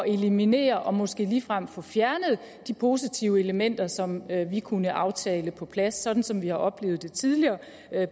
eliminere og måske ligefrem få fjernet de positive elementer som vi kunne aftale på plads sådan som vi har oplevet det tidligere